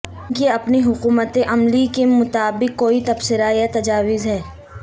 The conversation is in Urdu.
ان کی اپنی حکمت عملی کے متعلق کوئی تبصرہ یا تجاویز ہیں